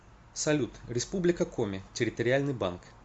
салют республика коми территориальный банк